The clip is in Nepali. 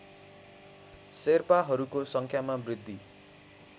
शेर्पाहरूको सङ्ख्यामा वृद्धी